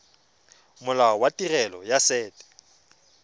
molao wa tirelo ya set